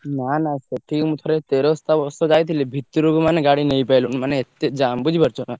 ନାଁ ନାଁ ସେଠିକି ମୁଁ ଥରେ ତେରସ୍ତା ବର୍ଷ ଯାଇଥିଲି ଭିତରକୁ ମାନେ ଗାଡି ନେଇପାଇଲୁନୁ ମାନେ ଏତେ ଜାମ୍ ବୁଝିପାରୁଛ ନା।